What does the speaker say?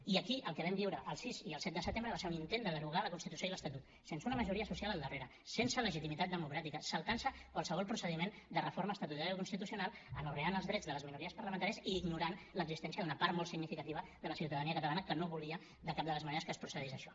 i aquí el que vam viure el sis i el set de setembre va ser un intent de derogar la constitució i l’estatut sense una majoria social al darrere sense legitimitat democràtica saltant se qualsevol procediment de reforma estatutària o constitucional anorreant els drets de les minories parlamentàries i ignorant l’existència d’una part molt significativa de la ciutadania catalana que no volia de cap de les maneres que es procedís a això